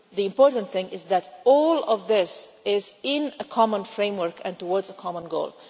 The important thing is that all of this is in a common framework and towards a common goal.